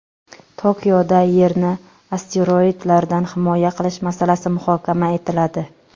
Tokioda Yerni asteroidlardan himoya qilish masalasi muhokama etiladi.